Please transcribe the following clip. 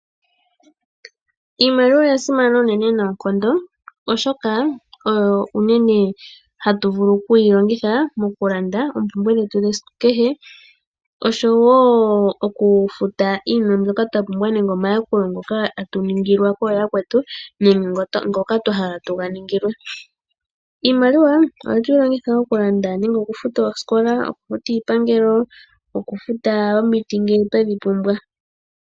Iimaliwa oya simana uunene noonkondo oshoka oyo uunene hatu vulu oku yi longitha moku landa oompumbwe dhetu dhe siku kehe oshowo okufuta iinima mbyoka twa pumbwa nenge omayakulo ngoka tatu ningilwa kooya kwetu nenge ngoka twahala tuga ningilwe. Iimaliwa ohatu longitha okulanda nenge okufuta oosikola, okufuta iipangelo nokufuta omuti ngele twedhi pumbwa.